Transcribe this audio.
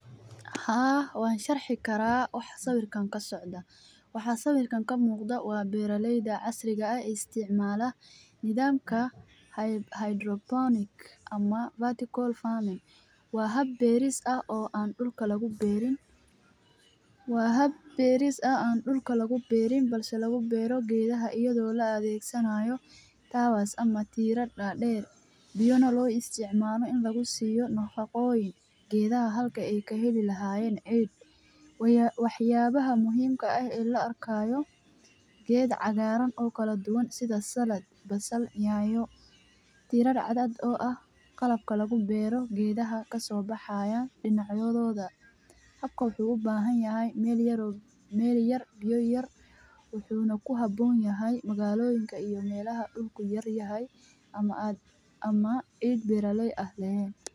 Haa, waan sharxi karaa wax sawirtan ka socda. Wax sawirtan ka muuqda waa beeraleyda casriga ah ay isticmaala nidaamka hydroponic ama vertical farming. Waa hab beeris ah oo aan dhulka lagu beerin. Waa hab beeris ah aan dhulka lagu beerin balse lagu beero geedaha iyadoo la adeegsanaayo taawaas ama tiirad dhaadheer. Biyoona loo isticmaalno in lagu siiyo nooqaqooyin geedaha halka ay kaheli lahaayen cid. Waya waxyaabaha muhiimka ah in la arkayo geeda cagaaran oo kala duwan sida salad. Basal nyaayo tirad cadad ah oo ah qalabka lagu beero geedaha ka soo baxaya dhinacyadooda. Habkaw xuu u baahan yahay meel yar oo meel yar biyo yar. Wuxuuna ku habboon yahay magaalooyinka iyo meelaha dhulku yar yahay ama aad ama cid beeraley ah leen.